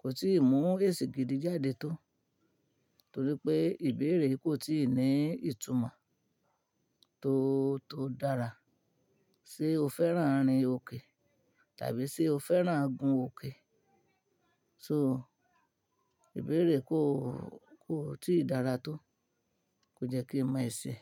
kò tí ìmú èsì gidi jáde tó, torí pé ìbéèrè yìí kò tí ì ní ìtumọ́ tó, tó dára. Ṣé o fẹ́ràn rin òkè tàbí ṣe o fẹ́ràn gun òkè? So ìbéèrè kò, kò tí ì dára tó. Kò jẹ́ kí ń mọ èsì.